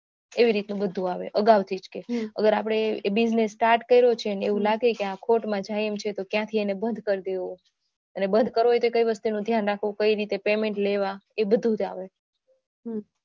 એવી રીતનુ જ બધુ જ આવે અગાઉથી અગર આપણે business start કર્યો છે અને એવું લાગે કે ખોટ માં જાય છે તો આપણે એને ક્યાર થી બંધ કરી દેવો અને બંધ કરવો હોય તો કઈ રીતનું ધ્યાન રહેવું પડે રીતના payment લેવા એબધુંજ આવે